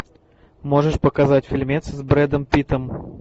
можешь показать фильмец с брэдом питтом